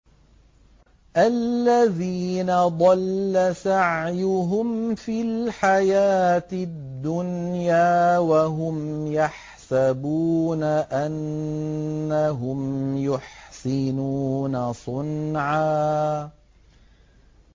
الَّذِينَ ضَلَّ سَعْيُهُمْ فِي الْحَيَاةِ الدُّنْيَا وَهُمْ يَحْسَبُونَ أَنَّهُمْ يُحْسِنُونَ صُنْعًا